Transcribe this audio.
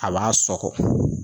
A b'a sɔkɔ